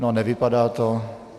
No, nevypadá to.